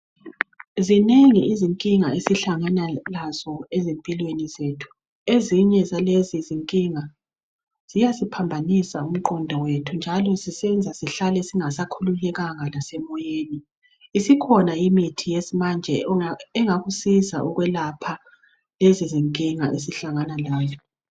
Zinengi izinkinga esihlangana lazo ezimpilweni zethu. Ezinye zalezi zinkinga ziyasiphambanisa umqondo wethu njalo zisenza sihlale singasakhululekanga lasemoyeni. Isikhona imithi yesimanje engakusiza ukwelapha lezi zinkinga esihlangana lazo.